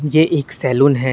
ये एक सैलून है।